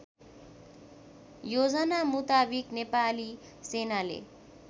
योजनामुताबिक नेपाली सेनाले